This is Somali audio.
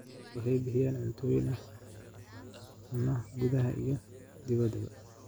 Xooluhu waxay bixiyaan cuntooyin ay ku cunaan gudaha iyo dibaddaba.